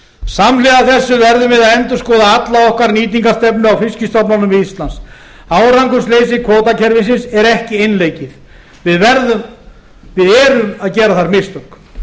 samhliða þessu verðum við að endurskoða alla okkar nýtingarstefnu á fiskistofnunum við ísland árangursleysi kvótakerfisins er ekki einleikið við erum að gera þar mistök